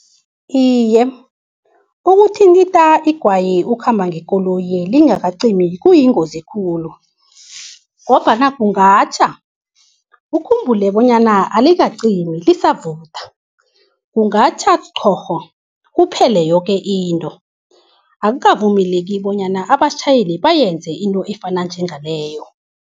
Iye, ukuthintitha igwayi ukhamba ngekoloyi lingakacimi kuyingozi khulu, ngombana kungatjha. Ukhumbule bonyana alikacimi lisavutha, kungatjha thorho kuphele yoke into. Akukavumeleki bonyana abatjhayeli bayenze into efana njengaleyo.